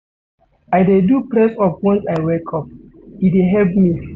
I dey do press-up once I wake up, e dey help me.